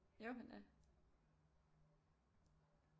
Jo han er